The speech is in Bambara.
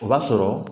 O b'a sɔrɔ